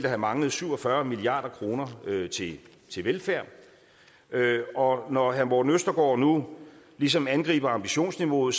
have manglet syv og fyrre milliard kroner til velfærd når når herre morten østergaard nu ligesom angriber ambitionsniveauet